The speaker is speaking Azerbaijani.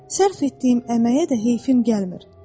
Sərf etdiyim əməyə də heyfim gəlmir.